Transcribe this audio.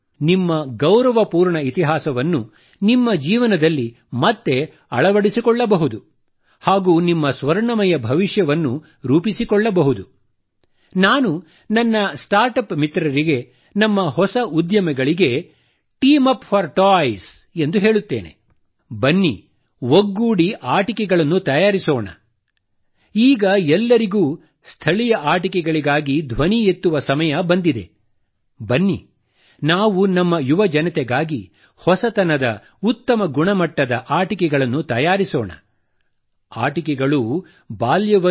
ನಿಮ್ಮ ಗೌರವಪೂರ್ಣ ಇತಿಹಾಸವನ್ನು ನಿಮ್ಮ ಜೀವನದಲ್ಲಿ ಮತ್ತೆ ಅಳವಡಿಸಿಕೊಳ್ಳಬಹುದು ಹಾಗೂ ನಿಮ್ಮ ಸ್ವರ್ಣಮಯ ಭವಿಷ್ಯವನ್ನು